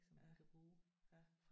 Ja ja